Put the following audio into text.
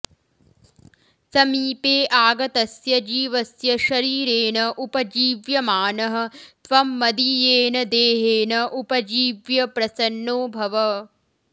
समीपे आगतस्य जीवस्य शरीरेण उपजीव्यमानः त्वं मदीयेन देहेन उपजीव्य प्रसन्नो भव